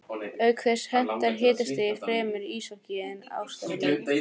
Auk þess hentar hitastigið fremur íshokkí en ástarleik.